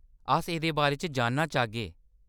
अस एह्‌‌‌दे बारे च जानना चाह्‌गे।